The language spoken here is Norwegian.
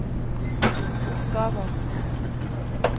oppgaver